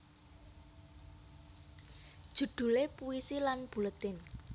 Judule Puisi lan Buletin